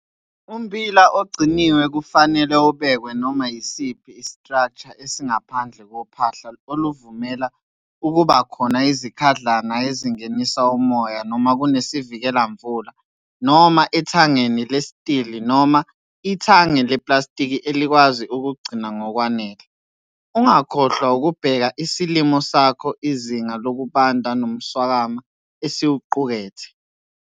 Umbila ogciniwe kufanele ubekwe noma yisiphi i-structure esingaphandle kophahla oluvumela ukuba khona izikhadlana ezingenisa umoya noma kunesivikela-mvula noma ethangeni lestili noma ithange leplastiki elikwazi ukugcina ngokwanele. Ungakhohlwa ukubheka isilimo sakho izinga lokubanda nomswakama esiwuqukethe.